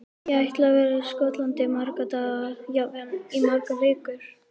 Ég ætla að vera í Skotlandi í marga daga, jafnvel í margar vikur.